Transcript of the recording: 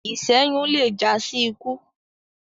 iṣẹyun lẹ já sí ikú